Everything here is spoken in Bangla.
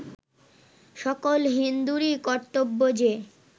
সকল হিন্দুরই কর্তব্য যে